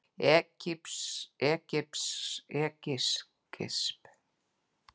Egypsk yfirvöld hætti að handtaka blaðamenn